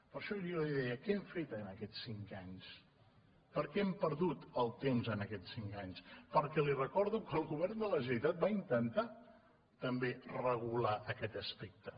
per això jo li deia què han fet en aquests cinc anys per què hem perdut el temps en aquests cinc anys per què li recordo que el govern de la generalitat va intentar també regular aquest aspecte